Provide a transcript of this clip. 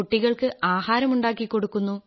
കുട്ടികൾക്ക് ആഹാരം ഉണ്ടാക്കി കൊടുക്കുന്നു